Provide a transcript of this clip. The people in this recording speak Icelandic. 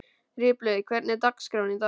Ripley, hvernig er dagskráin í dag?